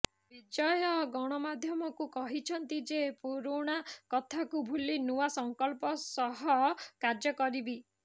ବିଜୟ ଗଣମାଧ୍ୟମକୁ କହିଛନ୍ତି ଯେ ପୁରୁଣା କଥାକୁ ଭୁଲି ନୂଆ ସଂକଳ୍ପ ସହ କାର୍ଯ୍ୟ କରିବି